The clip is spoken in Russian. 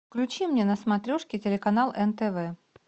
включи мне на смотрешке телеканал нтв